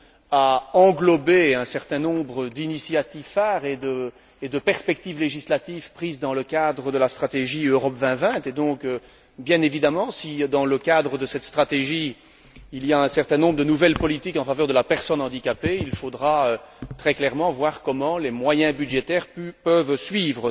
à englober un certain nombre d'initiatives phares et de perspectives législatives adoptées dans le cadre de la stratégie Europe 2020 et donc, bien évidemment, si, dans le cadre de cette stratégie, il y a un certain nombre de nouvelles politiques en faveur de la personne handicapée, il faudra voir comment les moyens budgétaires peuvent suivre